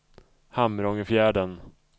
Hamrångefjärden